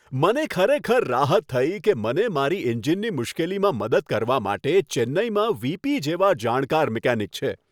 મને ખરેખર રાહત થઈ કે મને મારી એન્જિનની મુશ્કેલીમાં મદદ કરવા માટે ચેન્નઈમાં વી.પી. જેવા જાણકાર મિકેનિક છે.